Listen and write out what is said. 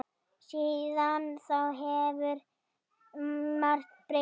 Síðan þá hefur margt breyst.